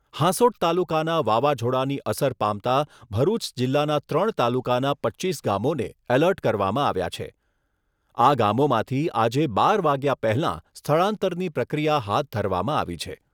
હાસોંટ તાલુકાના વાવાઝોડાની અસર પામતા ભરૂચ જિલ્લાના ત્રણ તાલુકાના પચ્ચીસ ગામોને એલર્ટ કરવામાં આવ્યા છે આ ગામોમાંથી આજે બાર વાગ્યા પહેલાં સ્થળાંતરની પ્રક્રિયા હાથ ધરવામાં આવી છે